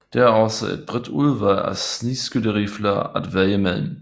Det er også et bredt udvalg snigskytterifler at vælge mellem